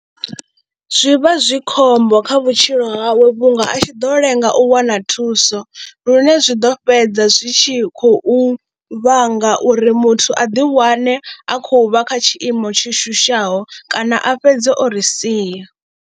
Zwi vha zwi khombo kha vhutshilo hawe vhunga a tshi ḓo lenga u wana thuso lune zwi ḓo fhedza zwi tshi khou vhanga uri muthu a ḓiwane a khou vha kha tshiimo tsho shushaho kana a fhedza o ri sia.